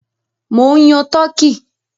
Mò ń yan turkey.